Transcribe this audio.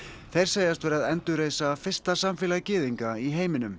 þeir segjast vera að endurreisa fyrsta samfélag gyðinga í heiminum